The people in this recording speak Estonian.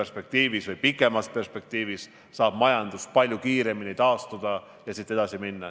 Siis saab majandus tulevikus palju kiiremini taastuda ja edasi minna.